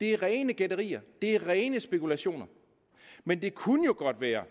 det er rene gætterier det er rene spekulationer men det kunne jo godt være